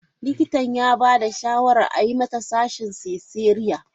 Likitan ya ba da shawarar a yi mata sashin cesarean.